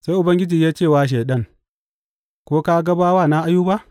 Sai Ubangiji ya ce wa Shaiɗan, Ko ka ga bawana Ayuba?